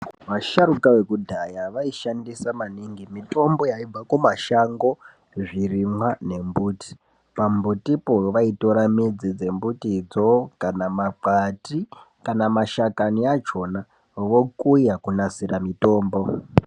Vasharuka vekudhaya vaishandisa maningi mitombo yaibva kumashango zvirimwa nembuti pambutipo vaitora midzi dzombutidzo kana makwati kana mashakani achona vokuya kugadzira mitombo.